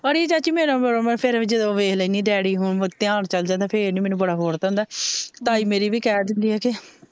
ਅੜੀਏ ਚਾਚੀ ਮੇਰਾ ਫੇਰ ਜਦੋਂ ਮੈ ਵੇਖ ਲੈਂਦੀ ਡੈਡੀ ਧਿਆਨ ਚੱਲ ਜਾਂਦਾ ਫੇਰ ਨੀ ਮੈਂਨੂੰ ਬੜਾ ਹੋਰ ਤਰਾਂ ਹੁੰਦਾ ਤਾਈ ਮੇਰੀ ਵੀ ਕਿਹ ਦਿੰਦੀ ਏ ਕਿ,